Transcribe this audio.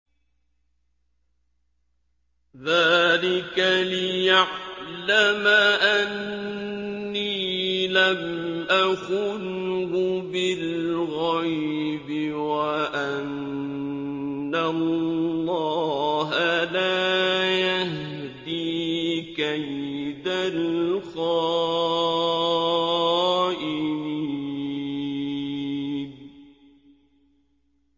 ذَٰلِكَ لِيَعْلَمَ أَنِّي لَمْ أَخُنْهُ بِالْغَيْبِ وَأَنَّ اللَّهَ لَا يَهْدِي كَيْدَ الْخَائِنِينَ